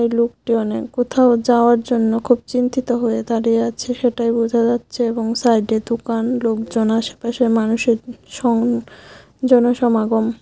লোকটি অনেক কোথাও যাওয়ার জন্য খুব চিন্তিত হয়ে দাঁড়িয়ে আছে সেটাই বোঝা যাচ্ছে এবং সাইডে দোকান লোকজন আশেপাশে মানুষ সং জনসমাগম।